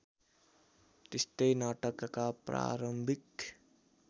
त्यस्तै नाटकका प्रारम्भिक